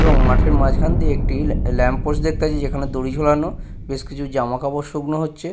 এবং মাঠের মাঝখান দিয়ে একটি ল্যা ল্যাম্প পোস্ট দেখতে পাচ্ছি যেখানে দড়ি ঝোলানো বেশ কিছু জামা কাপড় শুকনো হচ্ছে।